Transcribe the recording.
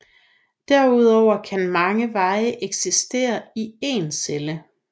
Derudover kan mange veje eksistere i én celle